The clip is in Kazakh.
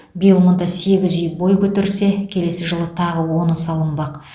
биыл мұнда сегіз үй бой көтерсе келесі жылы тағы оны салынбақ